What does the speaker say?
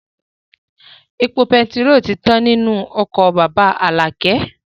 Epo betiró tí tán nínú ọkọ̀ bàbá Alakẹ